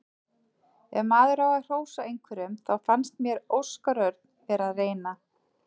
Ef maður á að hrósa einhverjum þá fannst mér Óskar Örn vera að reyna.